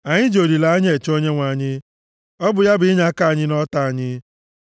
Anyị ji olileanya eche Onyenwe anyị; ọ bụ ya bụ inyeaka anyị na ọta anyị.